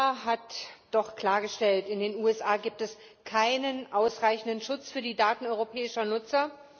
Der EuGH hat doch klargestellt In den USA gibt es keinen ausreichenden Schutz für die Daten europäischer Nutzer.